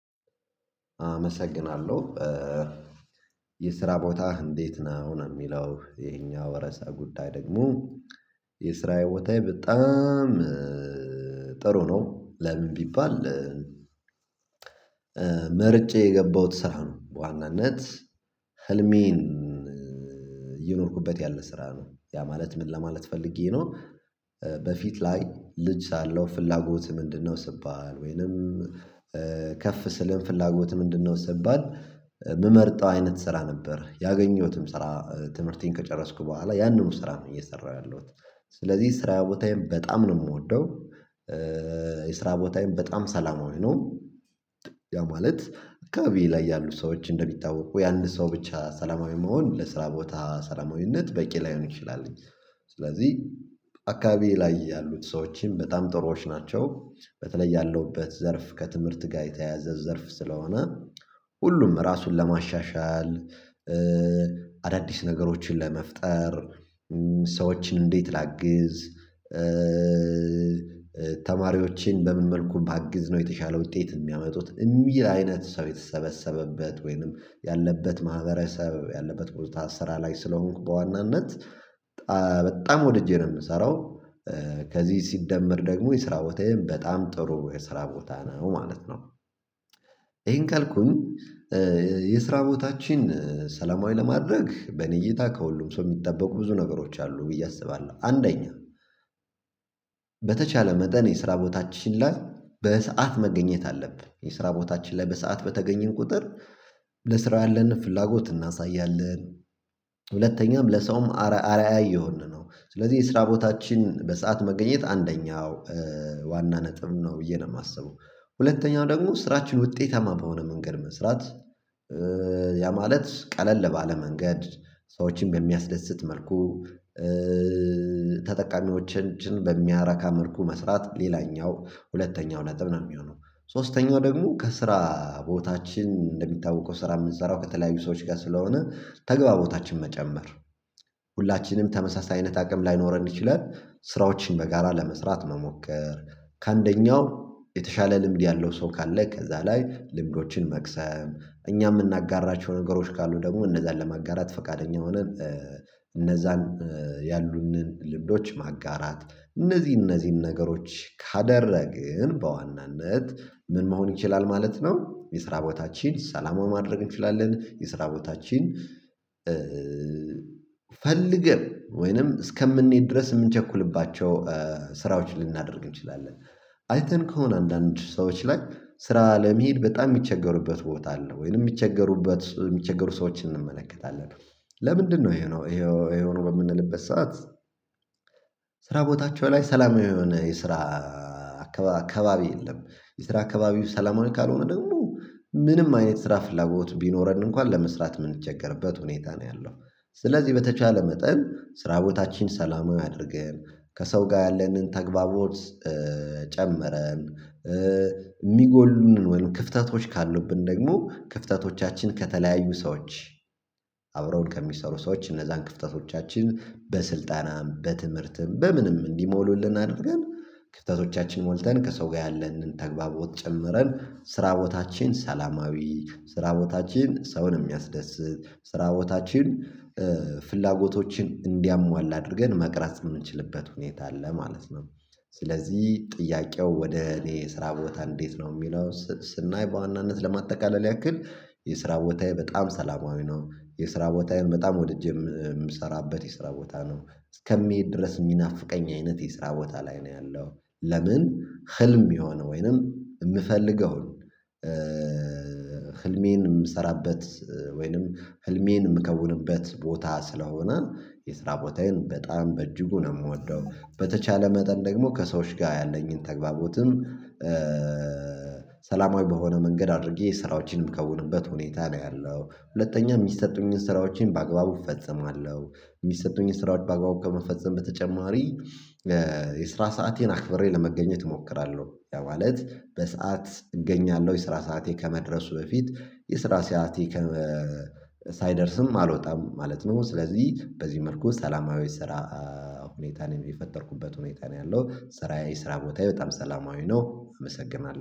አመሰግናለሁ። የስራ ቦታህ እንዴት ነው ነው የሚለው ይሄኛው እርሰ ጉዳይ ደግሞ የስራዬ ቦታዬ በጣም ጥሩ ነው። ለምን ቢባል መርጬ የገባሁት ስራ ነው ዋናነት ህልሜን እኖርኩበት ያለ ስራ ነው ያ ማለት ምን ለማለት ፈልጌ ነው በፊት ላይ ልጅ ሳለው ፍላጎትህ ምንድነው? ስባል ወይንም ከፍ ስልም ፍላጎትህ ስባል የምመርጠው አይነት ስራ ነበር ያገኘሁትም ስራ ትምህርቴን ከጨረስኩ በኋላ ያንኑ ስራ ነው እየሰራሁ ያለሁት ስለዚህ ስራ ቦታዬን በጣም ነው የምወደው። የስራ ቦታዬን በጣም ሰላማዊ ነው። ያ ማለት አካባቢዬ ላይ ያሉ ሰዎች እንደሚታወቁ ያንድ ሰው ብቻ ሰላማዊ መሆን ለስራ ቦታ ሰላማዊነት በቂ ላይሆን ይችላል። ስለዚህ አካባቢዬ ላይ ያሉት ሰዎችም በጣም ጥሩዎች ናቸው። በተለይ ያለውበት ዘርፍ ከትምህርት ጋር የተያያዘ ዘርፍ ስለሆነ ሁሉም ራሱን ለማሻሻል አዳዲስ ነገሮችን ለመፍጠር እንዴት ላግዝ ተማሪዎችን በምን መልኩ ባግዝ ነው የተሻለው ውጤት የሚያመጡት የሚል አይነት ሰው የተሰበሰበበት ወይንም ያለበት ማህበረሰብ ያለበት ቦታ ስራ ላይ ስለሆንኩ በዋናነት በጣም ወድጄ ነው የምሰራው። ከዚህ ሲደመር ደግሞ የስራ ቦታዬን በጣም ጥሩ የስራ ቦታ ነው ማለት ነው። ይሄን ካልኩኝ የስራ ቦታችን ሰላማዊ ለማድረግ በእኔ እይታ ከሁሉም ሰው የሚጠበቁ ብዙ ነገሮች አሉ ብዬ አስባለሁ። አንደኛ በተቻለ መጠን የስራ ቦታችን ላይ በሰአት መገኘት አለብን የስራ ቦታችን ላይ በሰአት በተገኘን ቁጥር ለስራው ያለንን ፍላጎት እናሳያለን። ሁለተኛም ለሰውም አርአያ እየሆንን ነው ስለዚህ የስራ ቦታችን በሰአት መገኘት አንደኛው ዋና ነጥብ ነው ብዬ ነው የማስበው። ሁለተኛው ደግሞ ስራችን ውጤታማ በሆነ መንገድ መስራት ያ ማለት ቀለል ባለ መንገድ ሰዎችን በሚያስደስት መልኩ ተጠቃሚዎችን በሚያረካ መልኩ መስራት ሌላኛው ሁለተኛው ነጥብ ነው። የሚሆነው ሶስተኛው ደግሞ ከስራ ቦታችን እንደሚታወቀው ስራ የምንሰራው ከተለያዩ ሰዎች ጋር ስለሆነ ተግባቦታችን መጨመር ሁላችንም ተመሳሳይ አይነት አቅም ላይኖረን ይችላል። ስራዎችን በጋራ ለመስራት መሞከር ከአንደኛው የተሻለ ልምድ ያለው ሰው ካለ ከዛ ላይ ልምዶችን መቅሰም እኛ የምናጋራቸው ነገሮች ካሉ ደግሞ እነዛን ለማጋራት ፈቃደኛ ሆነን። እነዛን ያሉንን ልምዶች ማጋራት እነዚህ እነዚህን ነገሮች ካደረግን በዋናነት ምን መሆን ይችላል ማለት ነው። የስራ ቦታችን ሰላማዊ ማድረግ እንችላለን የስራ ቦታችን ፈልገን ወይንም እስከምንሄድ ድረስ የምንቸኩልባቸው ስራዎች ልናደርግ እንችላለን። አይተን ከሆነ አንዳንድ ሰዎች ላይ ስራ ለመሄድ በጣም የሚቸገሩበት ቦታ አለ ወይንም የሚቸገሩበት የሚቸገሩ ሰዎችን እንመለከታለን። ለምንድነው ይሄ የሆነው በምንልበት ሰዓት ስራ ቦታቸው ላይ ሰላማዊ የሆነ የስራ አካባቢ የለም። የስራ አካባቢው ሰላማዊ ካልሆነ ደግሞ ምንም አይነት ስራ ፍላጎት ቢኖረን እንኳን ለመስራት የምንቸገርበት ሁኔታ ነው ያለው። ስለዚህ በተቻለ መጠን ስራ ቦታችን ሰላማዊ አድርገን ከሰው ጋር ያለንን ተግባቦት ጨመረን። የሚጎሉንን ወይም ክፍተቶች ካሉብን ደግሞ ክፍተቶቻችን ከተለያዩ ሰዎች አብረውን ከሚሰሩ ሰዎች እነዛን ክፍተቶቻችን በስልጠናም በትምህርትም በምንም እንዲሞሉልን አድርገን ክፍተቶቻችን ሞልተን ከሰው ጋር ያለንን ተግባቦት ጨምረን ስራ ቦታችን ሰላማዊ ስራ ቦታችን ሰውን የሚያስደስት ስራ ቦታችን ፍላጎቶችን እንዲያሟላ አድርገን መቅረጽ የምንችልበት ሁኔታ አለ ማለት ነው። ስለዚህ ጥያቄው ወደ እኔ ስራ ቦታ እንዴት ነው የሚለው ስናይ በዋናነት ለማጠቃለል ያክል የስራ ቦታዬ በጣም ሰላማዊ ነው። የስራ ቦታዬን በጣም ወድጄ የምሰራበት የስራ ቦታ ነው። እስከሚሄድ ድረስ የሚናፍቀኝ አይነት የስራ ቦታ ላይ ነው ያለው ለምን ህልም የሚሆን ወይንም የምፈልገው ህልሜን የምሰራበት ወይንም ህልሜን የምከውንበት ቦታ ስለሆነ የስራ ቦታዬን በጣም በእጅጉ ነው የምወደው። በተቻለ መጠን ደግሞ ከሰዎች ጋር ያለኝን ተግባቦትም ሰላማዊ በሆነ መንገድ አድርጌ ስራዎችንም የምከውንበት ሁኔታ ላይ አለው ሁለተኛ የሚሰጡኝን ስራዎችን በአግባቡ እፈጽማለሁ። የሚሰጡኝን ስራዎች በአግባቡ ከመፈጸም በተጨማሪ የስራ ሰአቴን አክብሬ ለመገኘት እሞክራለሁ ያ ማለት በሰአት እገኛለሁ የስራ ሰዓቴ ከመድረሱ በፊት የስራ ሰዓቴ ሳይደርስም አልወጣም ማለት ነው። ስለዚህ በዚህ መልኩ ሰላማዊ ስራ ሁኔታን የፈጠርኩበት ሁኔታ ነው ያለው ስራዬ ስራ ቦታዬ በጣም ሰላማዊ ነው። አመሰግናለሁ